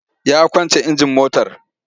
Ya kwance injin motar.